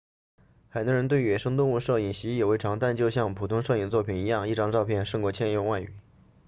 很多人对野生动物摄影习以为常但就像普通摄影作品一样一张照片胜过千言万语